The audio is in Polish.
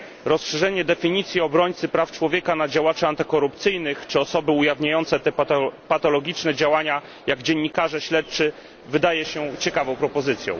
Rozszerzenie definicji obrońcy praw człowieka na działaczy antykorupcyjnych czy osoby ujawniające te patologiczne działania, takie jak dziennikarze śledczy, wydaje się ciekawą propozycją.